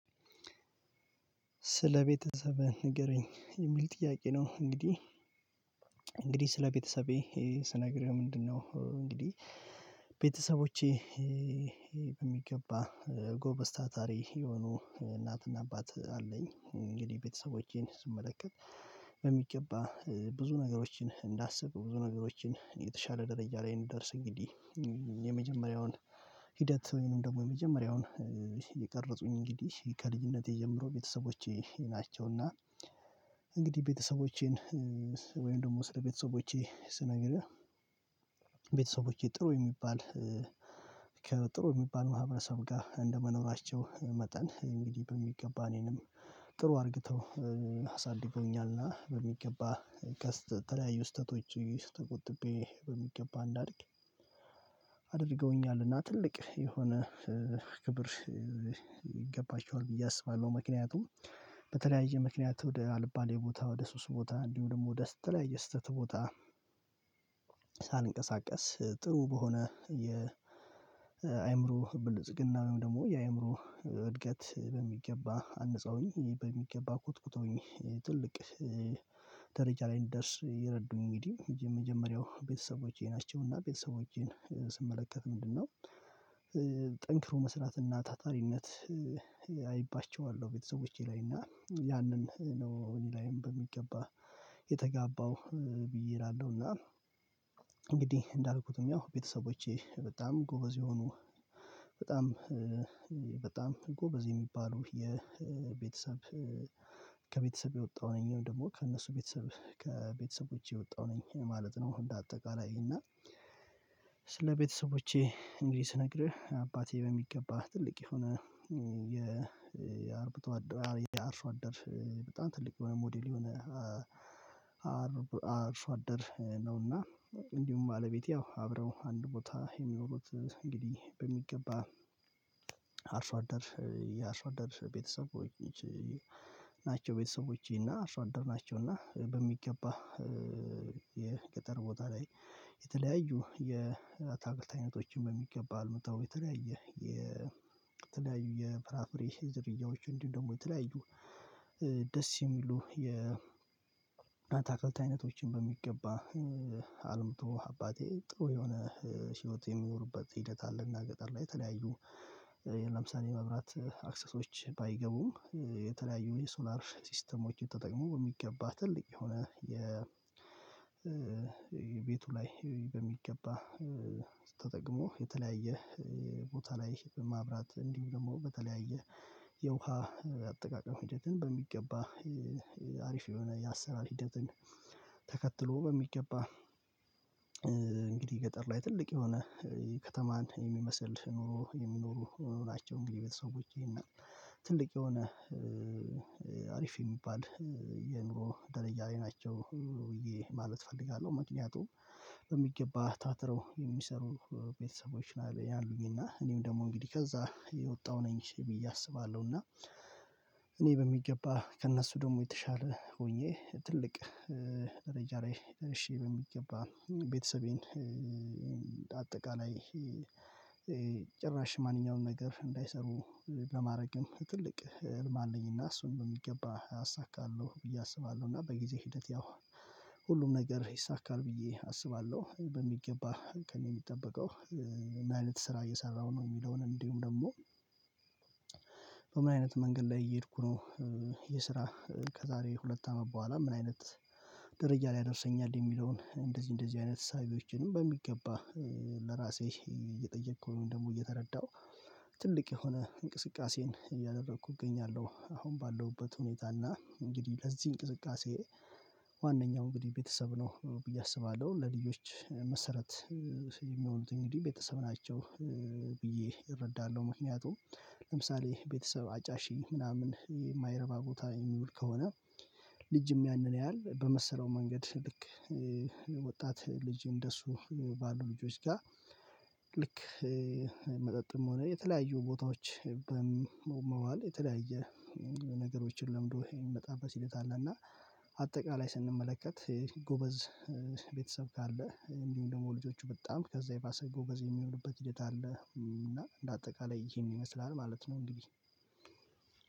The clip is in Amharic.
ስለቤተሰቤህ ንገረኝ የሚል ጥያቄ ነው? እንግዲህ እንግዲህ ስለቤተሰቤ ቤተሰቤ ስነግርህ ምንድነው እንግዲህ ቤተሰቦቼ በሚገባ ጎበዝ ታታሪ የሆኑ እናትና አባት አለኝ። እንግዲህ ቤተሰቦቼን ስመለከት በሚገባ ብዙ ነገሮችን እንዳስብ ብዙ ነገሮችን የተሻለ ደረጃ ላይ እንድደርስ እንግዲህ የመጀመሪያውን ሂደት ወይንም ደግሞ የመጀመሪያውን የቀረጹኝ እንግዲህ ከልጅነቴ ጀምሮ ቤተሰቦቼ ናቸውና። እንግዲህ ቤተሰቦቼን ወይም ደግሞ ስለ ቤተሰቦቼ ስነግርህ ቤተሰቦቼ ጥሩ የሚባል ከጥሩ የሚባል ማህበረሰብ ጋር እንደመኖራቸው መጠን እንግዲህ በሚገባ እኔንም ጥሩ አድርግተው አሳድጎኛልና በሚገባ ተለያዩ ስተቶች ተቆጥቤ በሚገባ እንዳድግ አድርገውኛልና ትልቅ የሆነ ክብር ይገባቸዋል ብዬ አስባለሁ። ምክንያቱም በተለያየ ምክንያት ወደ አልባሌ ቦታ ወደ ሱስ ቦታ እንዲሁ ደግሞ ወደ ተለያየ ስህተት ቦታ ሳልንቀሳቀስ ጥሩ በሆነ የአእምሮ ብልጽግና ወይም ደግሞ የአእምሮ እድገት በሚገባ አነጻውኝ በሚገባ ኮትኩተውኝ ትልቅ ደረጃ ላይ እንድደርስ የረዱኝ እንግዲህ የመጀመሪያው ቤተሰቦቼ ናቸው። እና ቤተሰቦቼን ምንድነው? ጠንክሮ መስራትና ታታሪነት አይባቸዋለሁ ቤተሰቦቼ ላይ እና ያንን ነው እኔ ላይም በሚገባ የተጋባው ብዬ እላለሁ እና እና እንግዲህ እንዳልኩትም ያው ቤተሰቦቼ በጣም ጎበዝ የሆኑ በጣም በጣም ጎበዝ የሚባሉ የቤተሰብ ከቤተሰብ የወጣው እኔም ደግሞ ከእነሱ ቤተሰብ ከቤተሰቦቼ የወጣሁ ነኝ ማለት ነው። አሁን እንደ አጠቃላይ እና ስለ ቤተሰቦቼ እንግዲህ ስነግርህ አባቴ በሚገባ ትልቅ የሆነ የአርብቶ አርሶ አደር በጣም ትልቅ የሆነ ሞዴል የሆነ አርሶ አደር ነውና። እንዲሁም አለቤቴ ያው አብረው አንድ ቦታ የሚኖሩት እንግዲህ በሚገባ አርሶ አደር የአርሶ አደር ቤተሰቦች ናቸው። ቤተሰቦቼ እና አርሶ አደር ናቸው እና በሚገባ የገጠር ቦታ ላይ የተለያዩ የአታክልት አይነቶችን በሚገባ አልምታው የተለያየ የተለያዩ የፍራፍሬ ዝርያዎች እንዲህ ደግሞ የተለያዩ ደስ የሚሉ የናታ አትክልት አይነቶችን በሚገባ አባቴ ጥሩ የሆነ ህይወት የሚኖሩበት ሂደት አለና። ገጠር ላይ የተለያዩ ለምሳሌ መብራት አክሰሶች ባይገቡም የተለያዩ የሶላር ሲስተሞች ተጠቅሞ የሚገባ ትልቅ የሆነ የቤቱ ላይ በሚገባ ተጠቅሞ የተለያየ ቦታ ላይ በማብራት እንዲሁ ደግሞ በተለያየ የውሃ አጠቃቀም ሂደትን በሚገባ አሪፍ የሆነ የአሰራር ሂደትን ተከትሎ በሚገባ እንግዲህ ገጠር ላይ ትልቅ የሆነ ከተማን የሚመስል ኑሮ የሚኖሩ ናቸው። እንግዲህ ቤተሰቦቼ እና ትልቅ የሆነ አሪፍ የሚባል የኑሮ ደረጃ ላይ ናቸው ብዬ ማለት እፈልጋለሁ። ምክንያቱም በሚገባ ታትረው የሚሰሩ ቤተሰቦች አሉኝ እና እኔም ደግሞ እንግዲህ ከዛ የወጣሁ ነኝ ብየ እያሰባለሁ እና እኔ በሚገባ ከእነሱ ደግሞ የተሻለ ሆኜ ትልቅ ደረጃ ላይ ደርሺ በሚገባ ቤተሰቤን አጠቃላይ ጭራሽ ማንኛውንም ነገር እንዳይሰሩ ለማድረግም ትልቅ ህልም አለኝና እሱን በሚገባ አሳካለሁ ብዬ አስባለሁ እና በጊዜ ሂደት ያው ሁሉም ነገር ይይሳካል ብዬ አስባለሁ። በሚገባ ከእኔ የሚጠበቀው ማለት ስራ እየሰራሁ ነው የሚለውን እንዲሁም ደግሞ በምን አይነት መንገድ ላይ እየሄድኩ ነው የስራ ከዛሬ ሁለት አመት በኋላ ምን አይነት ደረጃ ላይ ያደርሰኛል? የሚለውን እንደዚህ እንደዚህ አይነት ሳቢዎችንም በሚገባ ለራሴ እየጠየከው ወይም ደግሞ እየተረዳሁ ትልቅ የሆነ እንቅስቃሴን እያደረኩ እገኛለሁ አሁን ባለሁበት ሁኔታ እና እንግዲህ ለዚህ እንቅስቃሴ ዋናኛው እንግዲህ ቤተሰብ ነው ብዬ አስባለሁ። ለልጆች መሰረት የሚሆኑት እንግዲህ ቤተሰብ ናቸው ብዬ እረዳለሁ። ምክንያቱም ለምሳሌ ቤተሰብ አጫሽ ምናምን የማይረባ ቦታ የሚውል ከሆነ ልጅም ያንን ያያል በመሰለው መንገድ ልክ ወጣት ልጅ እንደሱ ባሉ ልጆች ጋር ልክ መጠጥም ሆነ የተለያዩ ቦታዎች በመዋል የተለያየ ነገሮችን ለምዶ ይመጣበት ሂደት አለ። እና አጠቃላይ ስንመለከት የጎበዝ ቤተሰብ ካለ እንዲሁ ደግሞ ልጆቹ በጣም ከዛ የባሰ ጎበዝ የሚሆንበት ሂደት አለ እና እንደ አጠቃላይ ይሄን ይመስላል ማለት ነው። እንግዲህ